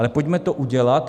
Ale pojďme to udělat.